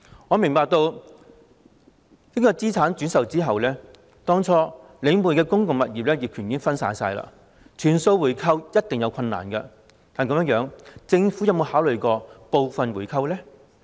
我明白，資產轉售後領匯當初的公共物業業權已經分散，全數回購有一定難度，但政府有否考慮部分回購呢？